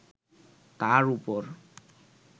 তার ওপর